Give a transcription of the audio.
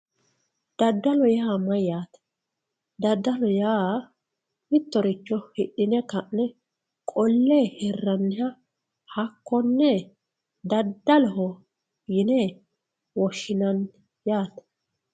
Dadalo yaa mayate dadalo yaa mitoricho hidhine kane qole hole hiraniha dadaloho yinani